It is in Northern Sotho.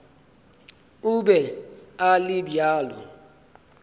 o be a le bjalo